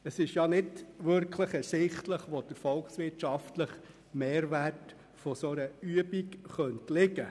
Es ist nicht wirklich ersichtlich, wo der volkswirtschaftliche Mehrwert einer solchen Übung liegen könnte.